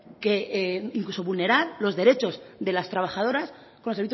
incluso vulnerar los derechos de las trabajadoras con